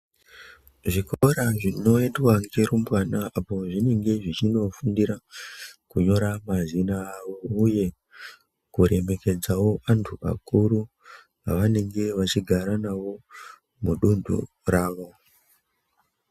Zvikora zvinoendwa nge rumbwana apo zvinenge zvichino fundira kunyora mazita avo uye kuremekedzawo anhu akuru avanenge ve chigara navo mu dunhu ravo.